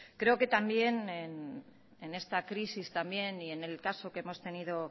creo que también en esta crisis también y en el caso que hemos tenido